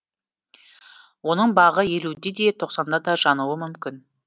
оның бағы елуде де тоқсанда да жануы мүмкін